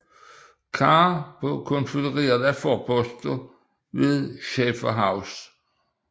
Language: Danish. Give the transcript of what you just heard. Carr på konfødererede forposter ved Schaiffer House